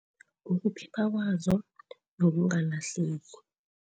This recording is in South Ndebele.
kwazo nokungalahleki.